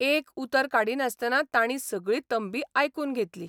एक उतर काडिनासतना तांणी सगळी तंबी आयकून घेतली.